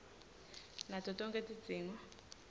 nato tonkhe tidzingo